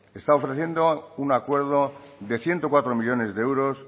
está ofreciendo un acuerdo de ciento cuatro millónes de euros